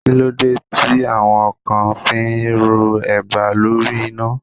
Kí ló dé tí àwọn kan fi ń ro eba lórí iná?